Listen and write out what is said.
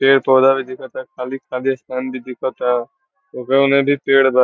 पेड़-पौधा भी दिखाता खाली खाली स्थान भी दिखाता ओकर उने भी पेड़ बा।